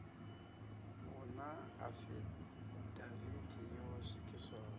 hu na afidavithi yo swikiswaho